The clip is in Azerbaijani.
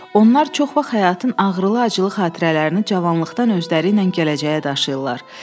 Onlar çox vaxt həyatın ağrılı-acılı xatirələrini cavanlıqdan özləri ilə gələcəyə daşıyırlar.